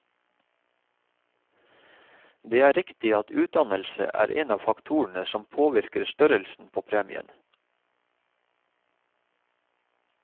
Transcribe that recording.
Det er riktig at utdannelse er en av faktorene som påvirker størrelsen på premien.